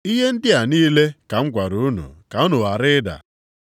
“Ihe ndị a niile ka m gwara unu ka unu ghara ịda.